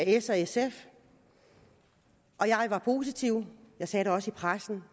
s og sf og jeg var positiv jeg sagde det også i pressen